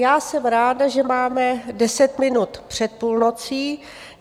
Já jsem ráda, že máme deset minut před půlnocí.